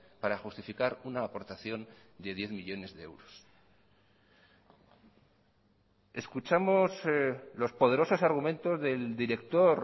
para justificar una aportación de diez millónes de euros escuchamos los poderosos argumentos del director